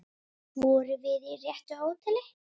Vorum við á réttu hóteli?